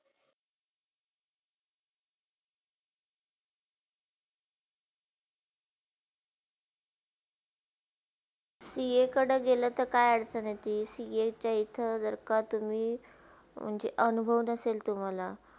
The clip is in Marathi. सीएकडे गेले तर काय answer येतील, सिएच्या इथे जर का तुम्ही म्हणजे अनुभाव नसेल तुम्हाला